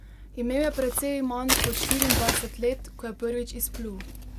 Imel je precej manj kot štiriindvajset let, ko je prvič izplul.